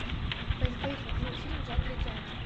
поисковик найди мне фильм в жанре театр